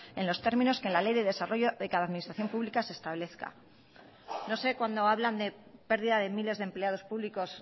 en los términos que en la ley de desarrollo de cada administración pública se establezca no sé cuando hablan de pérdida de miles de empleados públicos